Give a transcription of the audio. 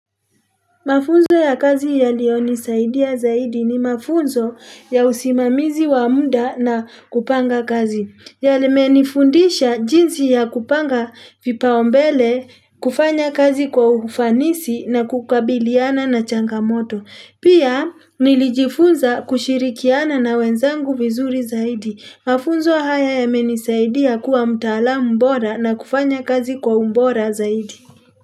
Mafunzo ya kazi yaliyonisaidia zaidi ni mafunzo ya usimamizi wa muda na kupanga kazi, yamenifundisha jinsi ya kupanga vipaumbele kufanya kazi kwa ufanisi na kukabiliana na changamoto. Pia nilijifunza kushirikiana na wenzangu vizuri zaidi. Mafunzo haya yamenisaidia kuwa mtalam bora na kufanya kazi kwa ubora zaidi.